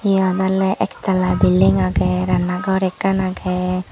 eyan olay ektala building aagay ranga gor ekkan aagay.